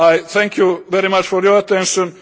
Thank you very much for your attention.